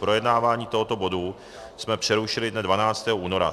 Projednávání tohoto bodu jsme přerušili dne 12. února.